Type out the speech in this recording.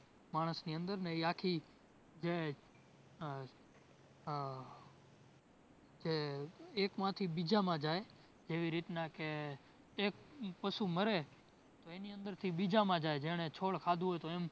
માણસની અંદર ને ઇ આખી જે આહ જે એકમાથી બીજામાં જાય જેવી રીતના કે એક પશુ મરે તો એની અંદરથી બીજામાં જાય જેણે છોડ ખાધું હોય તો